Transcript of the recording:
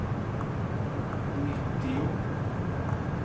nittio